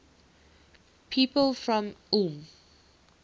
people from ulm